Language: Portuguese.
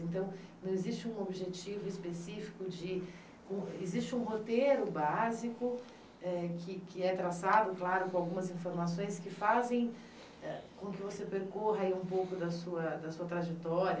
Então, não existe um objetivo específico de... com existe um roteiro básico eh que que é traçado, claro, com algumas informações que fazem ah com que você percorra aí um pouco da sua da sua trajetória